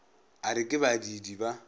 a re ke badiidi ba